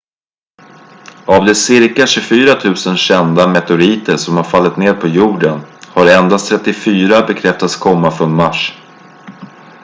av de cirka 24 000 kända meteoriter som har fallit ned på jorden har endast 34 bekräftats komma från mars